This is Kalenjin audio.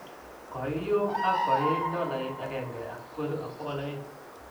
koium ak koiit $1,200.